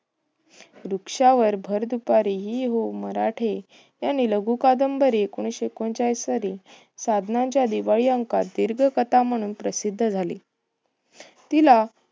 वृक्षावर भर दुपारी हि. वो. मराठे यांनी लघु कादंबरी ऐकोनिशे एकोणचाळीस साली, साधनांचा दिवाळी अंकात दीर्घकथा म्हणून प्रसिद्ध झाली. तिला